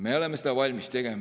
Me oleme seda valmis tegema.